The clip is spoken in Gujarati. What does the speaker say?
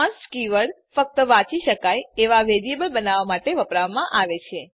કોન્સ્ટ કીવર્ડ ફક્ત વાંચી શકાય એવાં વેરીએબલ બનાવવાં માટે વાપરવામાં આવે છે